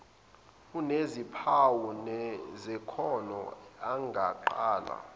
enezimpawu zekhono engaqala